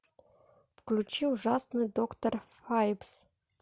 включи ужасный доктор файбс